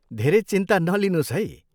धेरै चिन्ता नलिनुहोस् है।